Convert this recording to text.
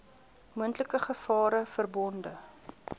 moontlike gevare verbonde